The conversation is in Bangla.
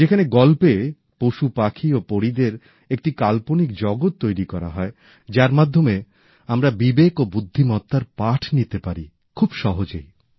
যেখানে গল্পে পশুপাখি ও পরীদের একটি কাল্পনিক জগৎ তৈরী করা হয় যার মাধ্যমে আমরা বিবেক ও বুদ্ধিমত্তার পাঠ নিতে পারি খুব সহজেই